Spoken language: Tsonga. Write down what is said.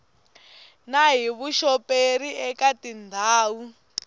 na hi vuxoperi eka tindhawu